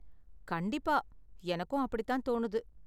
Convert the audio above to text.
கண்டிப்பா, எனக்கும் அப்படித்தான் தோணுது.